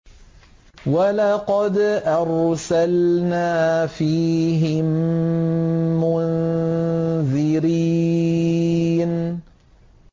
وَلَقَدْ أَرْسَلْنَا فِيهِم مُّنذِرِينَ